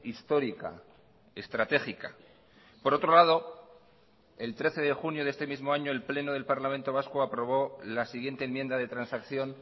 histórica estratégica por otro lado el trece de junio de este mismo año el pleno del parlamento vasco aprobó la siguiente enmienda de transacción